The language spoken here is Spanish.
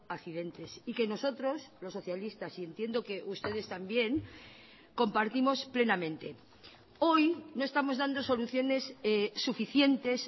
accidentes y que nosotros los socialistas y entiendo que ustedes también compartimos plenamente hoy no estamos dando soluciones suficientes